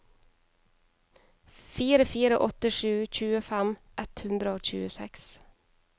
fire fire åtte sju tjuefem ett hundre og tjueseks